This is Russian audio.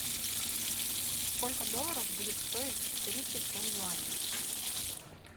сколько долларов будет стоить тридцать семь юаней